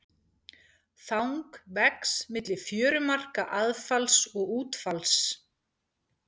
Þang vex milli fjörumarka aðfalls og útfalls.